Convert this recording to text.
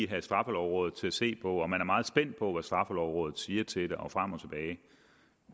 have straffelovrådet til at se på at man er meget spændt på hvad straffelovrådet siger til det og frem og tilbage